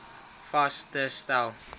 vas te stel